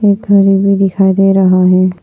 घर भी दिखाई दे रहा है।